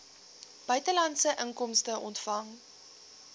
buitelandse inkomste ontvang